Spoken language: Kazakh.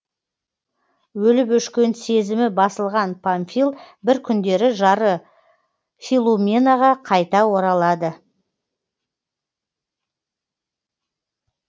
өліп өшкен сезімі басылған памфил бір күндері жары филуменаға қайта оралады